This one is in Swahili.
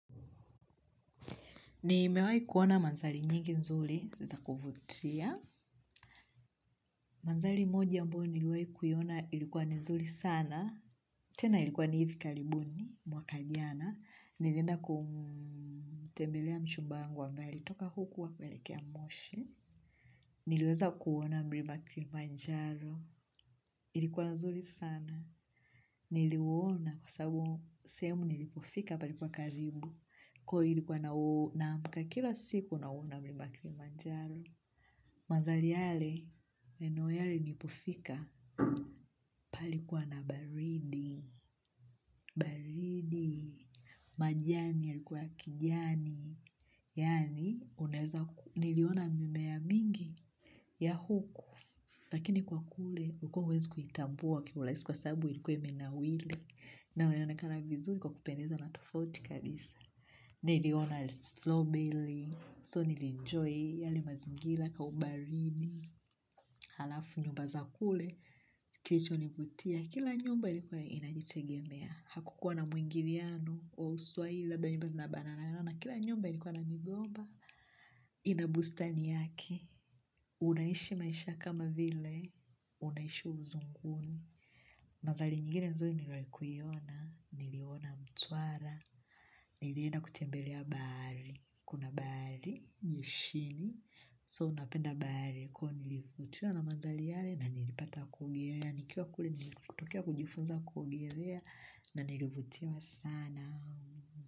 Nimewahi kuona mandhari nyingi nzuri za kuvutia. Mandhari moja ambao niliwahi kuiona ilikuwa ni nzuri sana. Tena ilikuwa ni hivi karibuni mwaka jana. Nilienda kumtembelea mchumba wangu ambaye alitoka huku hakuelekea moshi. Niliweza kuona mlima kilimanjaro. Ilikuwa nzuri sana. Niliuona kwa sababu sehemu nilipofika palikuwa karibu. Kwa hiyo ilikuwa naamka kila siku nauona mlima Kilimanjaro. Mandhari yale, maeneo yale nilipofika palikuwa na baridi, baridi, majani yalikuwa ya kijani, yaani unaweza ku niliona mimea mingi ya huku. Lakini kwa kule, huko huwezi kuitambua kiurahisi kwa sababu ilikuwa imenawiri na unaonekana vizuri kwa kupendeza na tofauti kabisa. Niliona slobeli, so nilienjoy yale mazingira ka ubaridi, halafu nyumba za kule, kilichonivutia, kila nyumba ilikuwa inajitegemea, hakukuwa na muingiliano wa uswahili labda nyumba zinabananana, kila nyumba ilikuwa na migomba, ina bustani yake, unaishi maisha kama vile, unaishi uzunguni. Mandhari nyingine nzuri niliowahi kuiona, niliona Mtwara, nilienda kutembelea bahari, kuna bahari, jeshini, so unapenda bahari kwa hiyo nilivutiwa na mandhari yale na nilipata kuogelea, nikiwa kule nilikotokea kujifunza kuogelea na nilivutiwa sana.